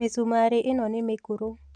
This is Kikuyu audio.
Mĩcumarĩ ĩno nĩ mĩkũrũ